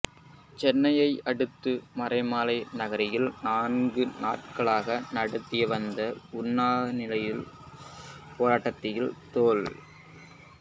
சென்னையை அடுத்த மறைமலை நகரில் நான்கு நாட்களாக நடத்தி வந்த உண்ணாநிலைப் போராட்டத்தை தொல்